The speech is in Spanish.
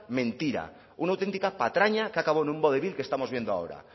mentira una auténtica patraña que ha acabado en un vodevil que estamos viendo ahora